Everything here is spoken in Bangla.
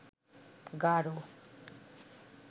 গাড়